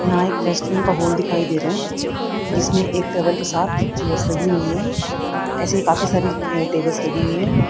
यहां एक रेस्टोरेंट का होल दिखाई दे रहा जिसमें एक टेबल के साथ चेयर्स लगी हुई है ऐसे ही काफी सारी टेबल्स लगी हुई है।